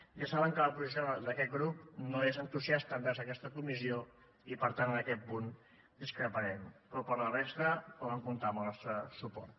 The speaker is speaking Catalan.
ja saben que la posició d’aquest grup no és entusiasta envers aquesta comissió i per tant en aquest punt discreparem però per la resta poden comptar amb el nostre suport